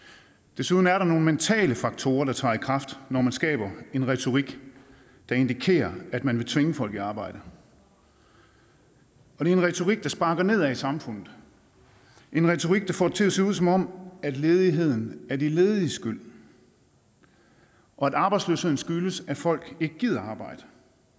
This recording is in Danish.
desuden er der nogle mentale faktorer der træder i kraft når man skaber en retorik der indikerer at man vil tvinge folk i arbejde det er en retorik der sparker nedad i samfundet en retorik der får det til at se ud som om ledigheden er de lediges skyld og at arbejdsløsheden skyldes at folk ikke gider at arbejde